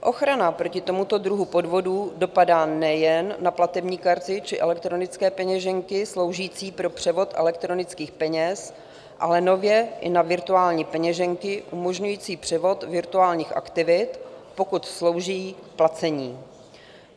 Ochrana proti tomuto druhu podvodů dopadá nejen na platební karty či elektronické peněženky sloužící pro převod elektronických peněz, ale nově i na virtuální peněženky umožňující převod virtuálních aktiv, pokud slouží k placení.